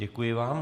Děkuji vám.